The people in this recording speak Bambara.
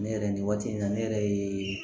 Ne yɛrɛ nin waati in na ne yɛrɛ ye